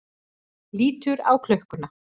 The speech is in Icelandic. Lítur á klukkuna.